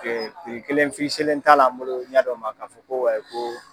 t'a la an bolo ɲa dɔ ma k'a fɔ ko.